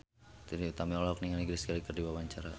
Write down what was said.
Trie Utami olohok ningali Grace Kelly keur diwawancara